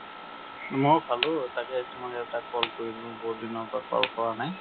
ময়ো খালো। তাকে তোমাক এটা call কৰিলোঁ, বহুত দিনৰ পৰা call কৰা নাই।